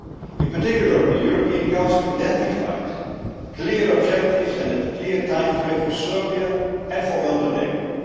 In particular, the European Council identified clear objectives and a clear timeframe for Serbia and for Montenegro.